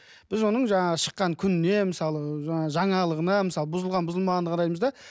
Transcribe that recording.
біз оның жаңағы шыққан күніне мысалы жаңағы жаңалығына мысалы бұзылған бұзылмағандығына қараймыз да